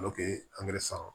angɛrɛ san